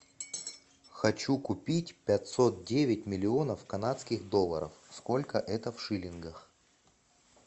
хочу купить пятьсот девять миллионов канадских долларов сколько это в шиллингах